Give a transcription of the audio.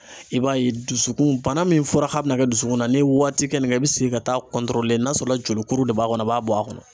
I b'a ye dusukun bana min fɔra k'a bɛna kɛ dusukun na, n'i ye waati kɛ nin kan i bɛ segin ka taa n'a sɔrɔla jolikuru de b'a kɔnɔ a b'a bɔ a kun.